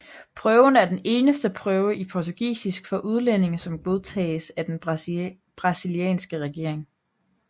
Prøven er den eneste prøve i portugisisk for udlændinge som godtages af den brasilianske regering